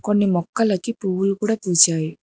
కొన్ని ముక్కలకు పూలు కూడా పూసాయి.